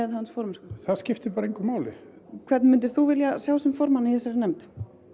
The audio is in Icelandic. hans formennsku það skiptir bara engu máli hvern myndir þú vilja sjá sem formann í þessari nefnd